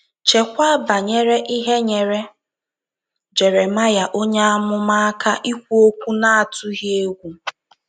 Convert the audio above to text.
Cheekwa banyere ihe nyeere Jeremaya onye amụma aka ikwu okwu n’atụghị egwu.